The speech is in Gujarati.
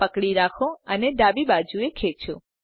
પકડી રાખો અને ડાબી બાજુએ ખેચો